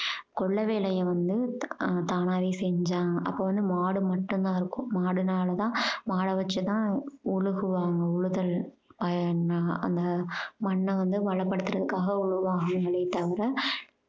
கொல்லை வேலைய வந்து ஹம் தானாவே செஞ்சாங்க அப்ப வந்து மாடு மட்டும் தான் இருக்கும் மாடுனால தான் மாட வச்சு தான் உழுகுவாங்க உழுதல் அந்த மண்ணை வந்து வளப்படுத்துவதற்காக உழுவாங்களே தவிர